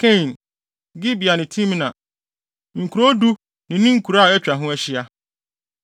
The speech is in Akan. Kain, Gibea ne Timna, nkurow du ne ne nkuraa a atwa ho ahyia.